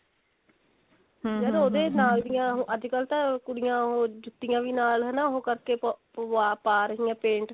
ਯਾਰ ਉਹਦੇ ਨਾਲ ਦੀਆਂ ਅੱਜਕਲ ਤਾਂ ਕੁੜੀਆਂ ਉਹ ਜੁਤੀਆਂ ਵੀ ਨਾਲ ਹਨਾ ਉਹ ਕਰਕੇ ਪੁਆ ਪਾ ਰਹੀਆਂ paint